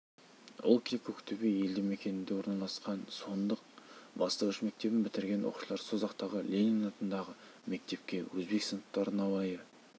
ол кезде көктөбе елді мекенінде орналасқан суындық бастауыш мектебін бітірген оқушылар созақтағы ленин атындағы мектепке өзбек сыныптары науайы